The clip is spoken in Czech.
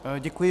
Děkuji.